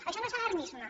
això no és alarmisme